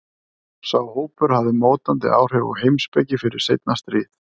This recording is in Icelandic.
Sá hópur hafði mótandi áhrif á heimspeki fyrir seinna stríð.